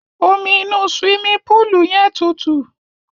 Omi inú suwimi púùlù yẹn tuntun.